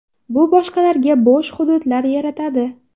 Bu boshqalarga bo‘sh hududlar yaratadi.